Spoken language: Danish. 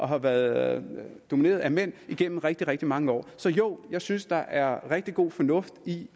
har været domineret af mænd igennem rigtig rigtig mange år så jo jeg synes der er rigtig god fornuft i